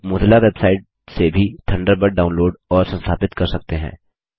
आप Mozilla website से भी थंडरबर्ड डाऊनलोड और संस्थापित कर सकते हैं